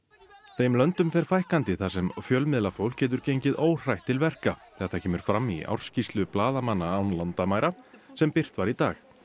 þeim löndum fer fækkandi þar sem fjölmiðlafólk getur gengið óhrætt til verka þetta kemur fram í ársskýrslu blaðamanna án landamæra sem birt var í dag